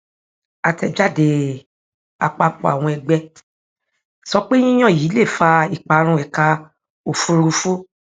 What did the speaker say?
àtẹjáde àpapọ àwọn ẹgbẹ sọ pé yíyan yìí lè fa ìparun ẹka òfùrúfú